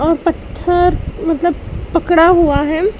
और पत्थर मतलब पड़ा हुआ है।